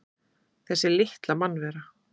Þessi litla mannvera!